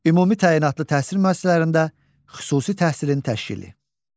Ümumi təyinatlı təhsil müəssisələrində xüsusi təhsilin təşkili.